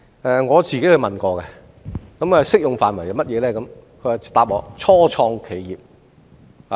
我也親自向該基金查詢有關適用範圍，它回答我要是初創企業。